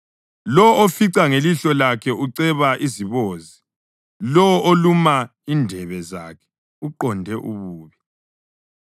Lowo ofica ngelihlo lakhe uceba izibozi; lowo oluma indebe zakhe uqonde ububi.